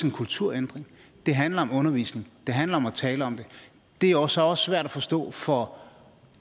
en kulturændring det handler om undervisning det handler om at tale om det det er jo så også svært at forstå for